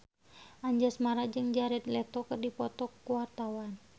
Anjasmara jeung Jared Leto keur dipoto ku wartawan